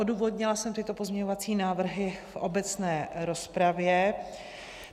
Odůvodnila jsem tyto pozměňovací návrhy v obecné rozpravě.